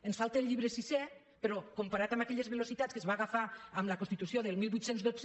ens falta el llibre sisè però comparat amb aquelles velocitats que es van agafar amb la constitució del divuit deu dos